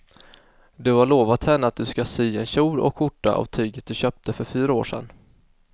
Du har lovat henne att du ska sy en kjol och skjorta av tyget du köpte för fyra år sedan.